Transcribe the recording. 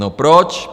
No proč?